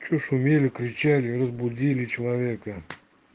что шумели кричали разбудили человека